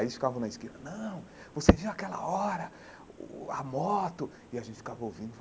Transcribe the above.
Aí eles ficavam na esquina, não, você viu aquela hora, uh uh uh a moto, e a gente ficava ouvindo,